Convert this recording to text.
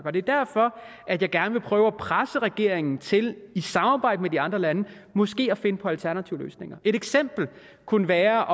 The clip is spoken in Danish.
og det er derfor at jeg gerne vil prøve at presse regeringen til i samarbejde med de andre lande måske at finde på alternative løsninger et eksempel kunne være